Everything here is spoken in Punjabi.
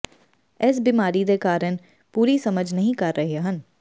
ਇਸ ਬਿਮਾਰੀ ਦੇ ਕਾਰਨ ਪੂਰੀ ਸਮਝ ਨਹੀ ਕਰ ਰਹੇ ਹਨ